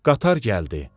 Qatar gəldi.